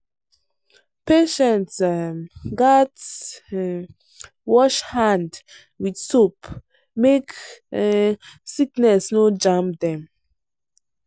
patients um gats um wash hand with soap make um sickness no jam dem.